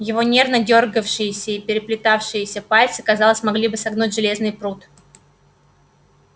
его нервно дёргавшиеся и переплетавшиеся пальцы казалось могли бы согнуть железный прут